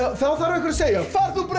þá þarf einhver að segja far þú bara